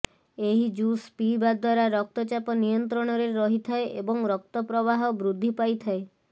ଏହି ଜୁସ୍ ପିଇବା ଦ୍ୱାରା ରକ୍ତଚାପ ନିୟନ୍ତ୍ରଣରେ ରହିଥାଏ ଏବଂ ରକ୍ତ ପ୍ରବାହ ବୃଦ୍ଧି ପାଇଥାଏ